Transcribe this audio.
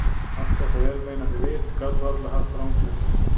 Allt þetta vel meinandi vit gat varla haft rangt fyrir sér.